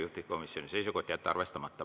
Juhtivkomisjoni seisukoht on jätta arvestamata.